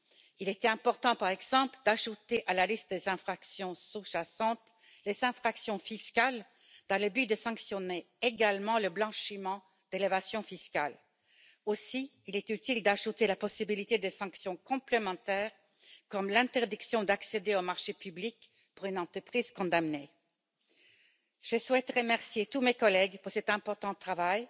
Il était important, par exemple, d'ajouter à la liste des infractions sous jacentes les infractions fiscales dans le but de sanctionner également le blanchiment d'évasion fiscale. Il était également utile d'ajouter la possibilité de sanctions complémentaires, comme l'interdiction d'accéder aux marchés publics pour une entreprise condamnée. Je souhaite remercier tous mes collègues pour cet important travail,